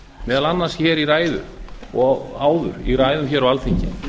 meðal annars í ræðu og áður í ræðum á alþingi